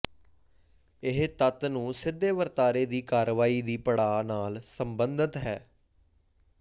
ਇਹ ਤੱਤ ਨੂੰ ਸਿੱਧੇ ਵਰਤਾਰੇ ਦੀ ਕਾਰਵਾਈ ਦੀ ਪੜਾਅ ਨਾਲ ਸਬੰਧਤ ਹਨ